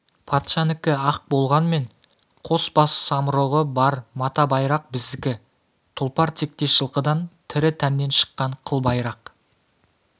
патшанікі ақ болғанмен қос бас самұрығы бар мата байрақ біздікі тұлпар тектес жылқыдан тірі тәннен шыққан қыл байрақ